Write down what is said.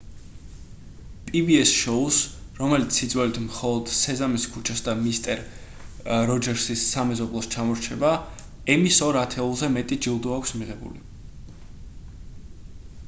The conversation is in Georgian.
pbs-ს შოუს რომელიც სიძველით მხოლოდ სეზამის ქუჩას და მისტერ როჯერსის სამეზობლოს ჩამორჩება ემის ორ ათეულზე მეტი ჯილდო აქვს მიღებული